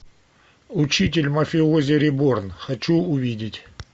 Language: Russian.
учитель мафиози реборн хочу увидеть